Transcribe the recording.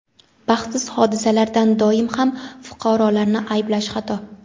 Baxtsiz hodisalarda doim ham fuqarolarni ayblash xato.